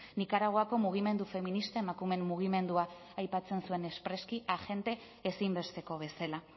nikaraguako mugimendu feministak emakumeen mugimendua aipatzen zuen espreski agente ezinbesteko bezala